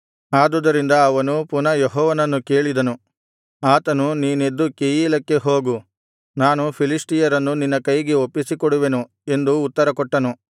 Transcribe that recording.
ಆದುದರಿಂದ ಅವನು ಪುನಃ ಯೆಹೋವನನ್ನು ಕೇಳಿದನು ಆತನು ನೀನೆದ್ದು ಕೆಯೀಲಕ್ಕೆ ಹೋಗು ನಾನು ಫಿಲಿಷ್ಟಿಯರನ್ನು ನಿನ್ನ ಕೈಗೆ ಒಪ್ಪಿಸಿಕೊಡುವೆನು ಎಂದು ಉತ್ತರಕೊಟ್ಟನು